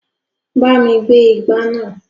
Bá mi gbé igbá náà.